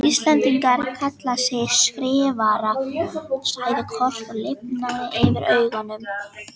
Íslendingar kalla þig Skrifara, sagði Kort og lifnaði yfir augunum.